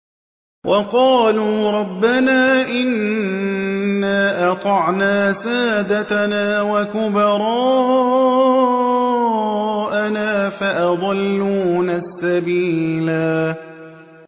وَقَالُوا رَبَّنَا إِنَّا أَطَعْنَا سَادَتَنَا وَكُبَرَاءَنَا فَأَضَلُّونَا السَّبِيلَا